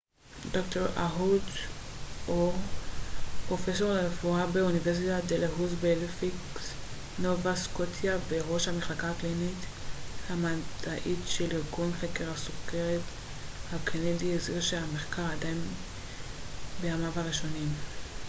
ד ר אהוד אור פרופסור לרפואה באוניברסיטת דלהאוזי בהליפקס נובה סקוטיה וראש המחלקה הקלינית והמדעית של ארגון חקר הסוכרת הקנדי הזהיר שהמחקר עדיין בימיו הראשונים